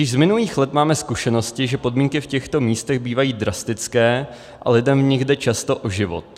Již z minulých let máme zkušenosti, že podmínky v těchto místech bývají drastické a lidem v nich jde často o život.